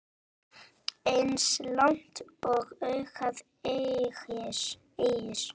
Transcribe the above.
Eins langt og augað eygir.